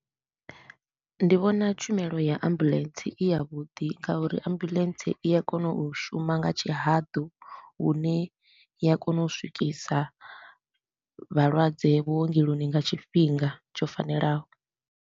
Ndi vhona tshumelo ya ambulance i ya vhuḓi nga uri ambulance i ya kona u shuma nga tshihaḓu, hune i ya kona u swikisa vhalwadze vhuongeloni nga tshifhinga tsho fanelaho.